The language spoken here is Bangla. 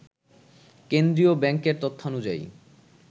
কেন্দ্রীয় ব্যাংকের তথ্যানুযায়ী